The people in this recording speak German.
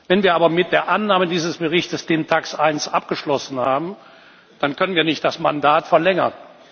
Wenn wir aber mit der Annahme dieses Berichts den TAXE I Ausschuss abgeschlossen haben, dann können wir nicht das Mandat verlängern.